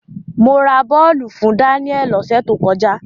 Mo ra bọ́ọ̀lù fún Daniel lọ́sẹ̀ tó kọjá.